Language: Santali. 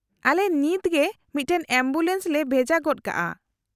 -ᱟᱞᱮ ᱱᱤᱛᱜᱮ ᱢᱤᱫᱴᱟᱝ ᱮᱢᱵᱩᱞᱮᱱᱥ ᱞᱮ ᱵᱷᱮᱡᱟ ᱜᱚᱫ ᱠᱟᱜᱼᱟ ᱾